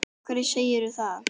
Af hverju segirðu það?